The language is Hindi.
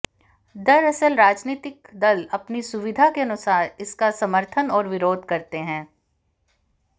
दरअसल राजनीतिक दल अपनी सुविधा के अनुसार इसका समर्थन और विरोध करते रहे हैं